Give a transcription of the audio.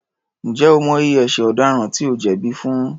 Ǹjẹ́ o mọ iye ẹṣẹ̀ ọ̀daràn tí ó jẹ̀bí fún?